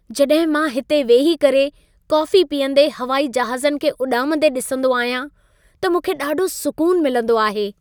जॾहिं मां हिते वेही करे कोफी पीअंदे हवाई जहाज़नि खे उॾामंदे ॾिसंदो आहियां, त मूंखे ॾाढो सुकून मिलंदो आहे।